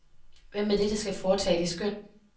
Hvem er det, der skal foretage det skøn.